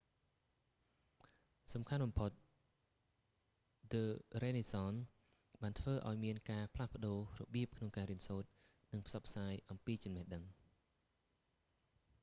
សំខាន់បំផុត ឌឺ រឺណេសសន the renaissance បានធ្វើឲ្យមានការផ្លាស់ប្តូររបៀបក្នុងការរៀនសូត្រ និងផ្សព្វផ្សាយអំពីចំណេះដឹង